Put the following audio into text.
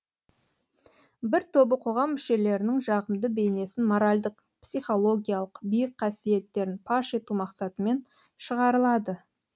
бір тобы қоғам мүшелерінің жағымды бейнесін моральдық психологиялық биік қасиеттерін паш ету мақсатымен шығарылады